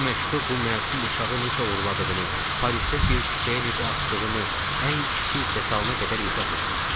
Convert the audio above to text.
Bu məktub bu məsum uşağı necə oğurladığını, Parisdə bir küçəyə necə atdığını, ən kiçik detalına qədər izah eləyir.